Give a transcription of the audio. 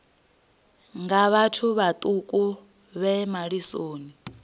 nga vhathu vhaṱuku vhe malisoni